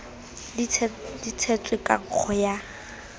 di tshetswe ka nkgo ya